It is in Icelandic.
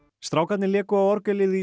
strákarnir léku á orgelið í